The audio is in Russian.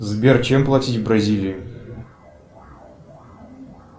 сбер чем платить в бразилии